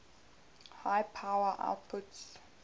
high power outputs